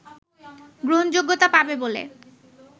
গ্রহণযোগ্যতা পাবে বলে